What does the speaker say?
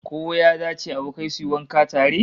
Ko ya dace abokai su yi wanka tare?